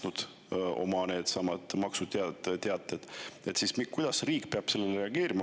Mõned on võib-olla need juba kinni maksnud.